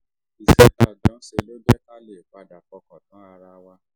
iṣẹ́ tá a jọ ń ṣe ló jẹ́ ká lè padà fọkàn tán ara wa